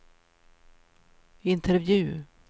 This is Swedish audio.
intervju